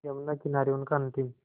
यमुना किनारे उनका अंतिम